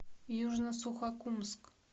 южно сухокумск